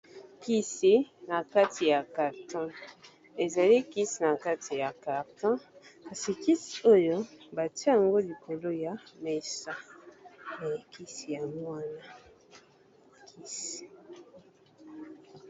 Kisi na kati ya carton, ezali kisi na kati ya carton, kasi kisi oyo ba tia yango likolo ya mesa, na kisi ya mwanana . Kisi .